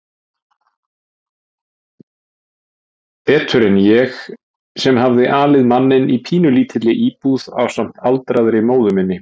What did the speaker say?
Betur en ég sem hafði alið manninn í pínulítilli íbúð ásamt aldraðri móður minni.